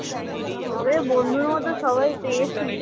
তবে বন্ধুর মত সবাই পেয়েছি